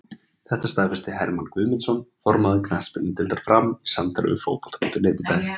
Þetta staðfesti Hermann Guðmundsson, formaður knattspyrnudeildar Fram, í samtali við Fótbolta.net í dag.